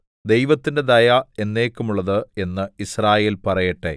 ദൈവത്തിന്റെ ദയ എന്നേക്കുമുള്ളത് എന്ന് യിസ്രായേൽ പറയട്ടെ